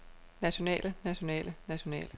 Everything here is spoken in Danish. nationale nationale nationale